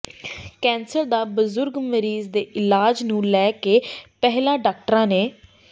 cancer ਦੇ ਬਜ਼ੁਰਗ ਮਰੀਜ਼ ਦੇ ਇਲਾਜ ਨੂੰ ਲੈ ਕੇ ਪਹਿਲਾਂ ਡਾਕਟਰਾਂ ਨੇ